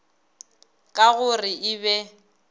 ka go re e be